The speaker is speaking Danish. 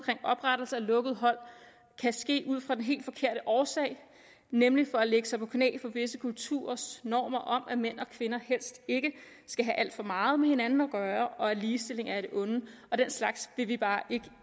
oprettelse af lukkede hold kan ske ud fra den helt forkerte årsag nemlig for at lægge sig på knæ for visse kulturers normer om at mænd og kvinder helst ikke skal have alt for meget med hinanden at gøre og at ligestilling er et onde den slags vil vi bare ikke